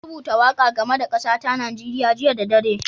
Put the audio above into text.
Na rubuta waƙa game da kasa ta Nijeriya jiya da dare.